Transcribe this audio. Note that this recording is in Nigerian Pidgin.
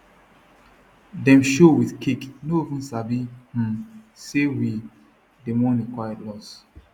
dem show with cake no even sabi um say we dey mourn a quiet loss